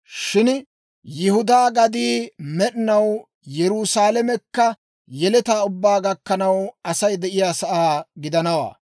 Shin Yihudaa gaddii med'inaw, Yerusaalamekka yeletaa ubbaa gakkanaw, Asay de'iyaasaa gidanawaa.